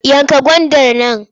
Yanka gwandar nan!